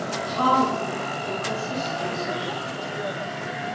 Talar ekki við systkini sín